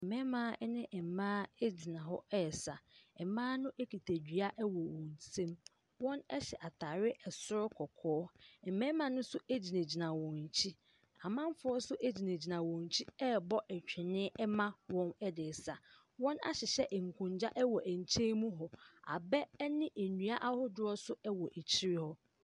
Mmarima ne mmaa gyina hɔ resa. Mmaa no kita dua wɔ wɔn nsam. Wɔhyɛ ataare soro kɔkɔɔ. Mmarima no nso egyinagyina wɔ akyi. Amanfoɔ nso gyinagyina wɔ akyi rebɔ twene ma wɔn de resa. Wɔahyehyɛ nkonnwa wɔ nkyemu hɔ. Abɛ ne nkonnwa ahoroɔ nso wɔ akyire hɔ.